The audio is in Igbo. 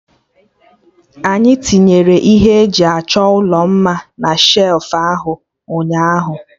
Anyị tinyere ihe eji achọ ụlọ mma na shelfụ ahụ ụnyaahụ